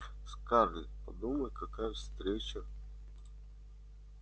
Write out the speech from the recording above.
скарлетт подумай какая встреча